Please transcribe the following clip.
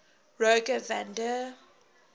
rogier van der